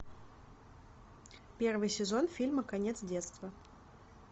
первый сезон фильма конец детства